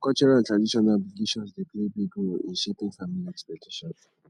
cultural and traditional obligations dey play big role in shaping family expectations